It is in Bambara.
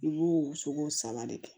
I b'o sogo saba de kɛ